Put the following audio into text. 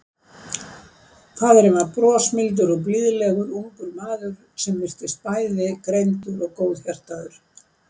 Faðirinn var brosmildur og blíðlegur ungur maður sem virtist bæði greindur og góðhjartaður.